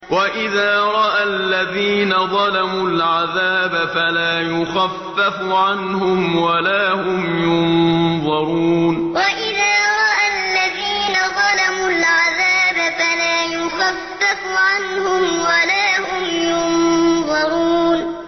وَإِذَا رَأَى الَّذِينَ ظَلَمُوا الْعَذَابَ فَلَا يُخَفَّفُ عَنْهُمْ وَلَا هُمْ يُنظَرُونَ وَإِذَا رَأَى الَّذِينَ ظَلَمُوا الْعَذَابَ فَلَا يُخَفَّفُ عَنْهُمْ وَلَا هُمْ يُنظَرُونَ